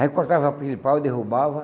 Aí cortava aquele pau e derrubava.